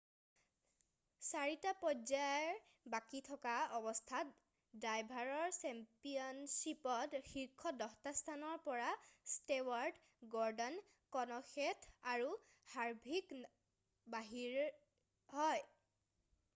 4টা পৰ্যায় বাকী থকা অৱস্থাত ড্ৰাইভাৰ চেম্পিয়নশ্বিপত শীৰ্ষ 10টা স্থানৰ পৰা ষ্টেৱাৰ্ট গৰ্ডান কেনশেঠ আৰু হাৰভিক বাহিৰ হয়